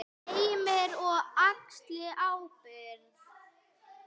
Heimir: Og axli ábyrgð?